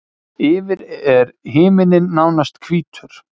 Yfir er himinninn nánast hvítur.